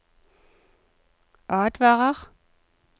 advarer